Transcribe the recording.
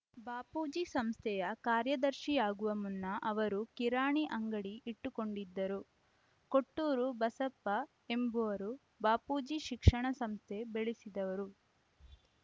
ಬಾಪೂಜಿ ಸಂಸ್ಥೆಯ ಕಾರ್ಯದರ್ಶಿಯಾಗುವ ಮುನ್ನ ಅವರು ಕಿರಾಣಿ ಅಂಗಡಿ ಇಟ್ಟುಕೊಂಡಿದ್ದರು ಕೊಟ್ಟೂರ ಬಸಪ್ಪ ಎಂಬುವರು ಬಾಪೂಜಿ ಶಿಕ್ಷಣ ಸಂಸ್ಥೆ ಬೆಳೆಸಿದವರು